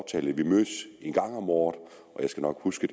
vi mødes en gang om året og jeg skal nok huske